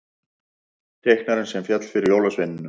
Teiknarinn sem féll fyrir jólasveinunum